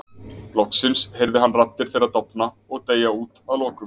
Loksins heyrði hann raddir þeirra dofna og deyja út að lokum.